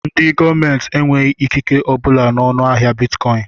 Ndị gọọmenti enweghị ikike obula n'ọnu ahịa bịtkọin